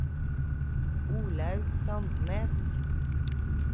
Olaug Sandnes